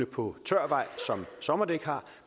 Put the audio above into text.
på tør vej som sommerdæk har